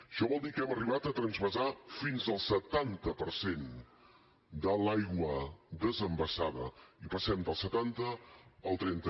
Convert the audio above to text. això vol dir que hem arribat a transvasar fins al setanta per cent de l’aigua desenvasada i passem del setanta al trenta